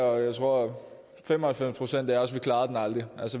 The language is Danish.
og jeg tror fem og halvfems procent af os aldrig klarede den